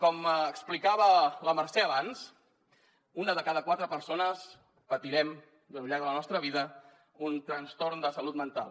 com explicava la mercè abans una de cada quatre persones patirem al llarg de la nostra vida un trastorn de salut mental